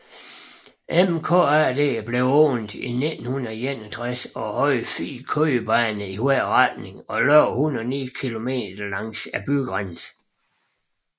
MKAD blev åbnet i 1961 og havde fire kørebaner i hver retning og løb 109 km langs bygrænsen